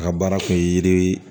A ka baara tun ye yiri